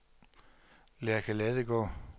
Lærke Ladegaard